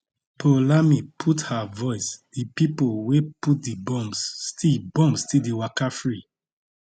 poulami add her voice di pipo wey put di bombs still bombs still dey waka free